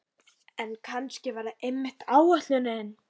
En kannski er það einmitt ætlunin.